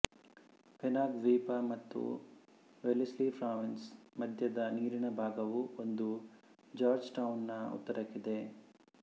Penang ದ್ವೀಪ ಮತ್ತು Wellesley Province ಮಧ್ಯದ ನೀರಿನ ಭಾಗವು ಇದು ಜಾರ್ಜ್ ಟೌನ್ ನ ಉತ್ತರಕ್ಕಿದೆ